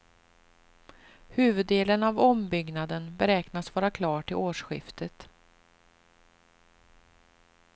Huvuddelen av ombyggnaden beräknas vara klar till årsskiftet.